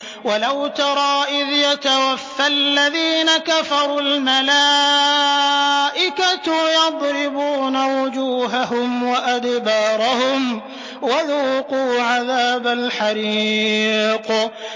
وَلَوْ تَرَىٰ إِذْ يَتَوَفَّى الَّذِينَ كَفَرُوا ۙ الْمَلَائِكَةُ يَضْرِبُونَ وُجُوهَهُمْ وَأَدْبَارَهُمْ وَذُوقُوا عَذَابَ الْحَرِيقِ